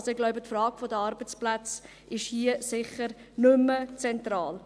Ich glaube, die Frage der Arbeitsplätze ist hier sicher nicht mehr zentral.